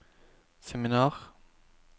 seminar